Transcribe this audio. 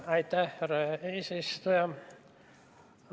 Aitäh, härra eesistuja!